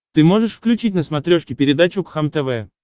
ты можешь включить на смотрешке передачу кхлм тв